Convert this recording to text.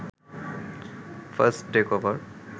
first day cover